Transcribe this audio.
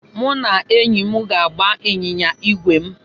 Mụ na enyi m ga-agba ịnyịnya ígwè m.